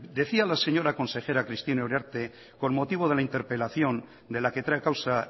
decía la señora consejera cristina uriarte con motivo de la interpelación de la que trae causa